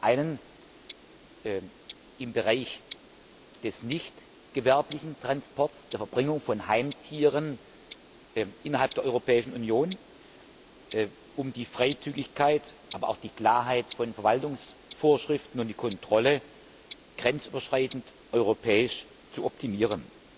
Zum einen im Bereich des nichtgewerblichen Transports, der Verbringung von Heimtieren innerhalb der Europäischen Union, um die Freizügigkeit, aber auch die Klarheit von Verwaltungsvorschriften und die Kontrolle grenzüberschreitend europäisch zu optimieren.